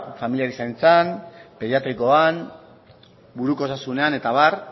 familiaren zaintzan pediatrikoan buruko osasunean eta abar